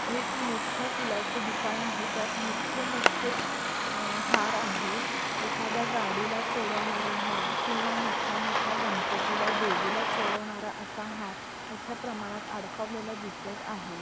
एक मोठ फुलाच दुकान आहे त्यात मोठे मोठे अह हार आहे एखादा गाडीला चडवणारा हार किंवा मोठ्या मोठ्या गणपतीला देवीला चडवणारा असा हार मोठ्या प्रमाणात अडकवलेला दिसत आहे.